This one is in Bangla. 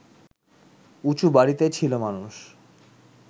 উঁচু বাড়িতেই ছিল মানুষ